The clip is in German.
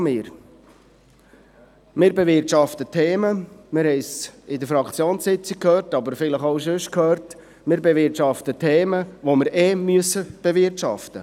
Wir bewirtschaften Themen, die wir ohnehin bewirtschaften müssen – wir haben es in der Fraktionssitzung, aber vielleicht auch anderswo gehört.